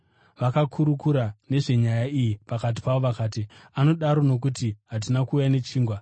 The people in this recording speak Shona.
Vakakurukura nezvenyaya iyi pakati pavo vakati, “Anodaro nokuti hatina kuuya nechingwa.”